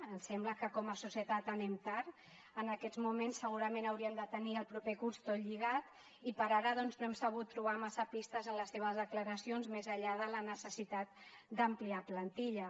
ens sembla que com a societat anem tard en aquests moments segurament haurien de tenir el proper curs tot lligat i per ara no hem sabut trobar massa pistes en les seves declaracions més enllà de la necessitat d’ampliar plantilla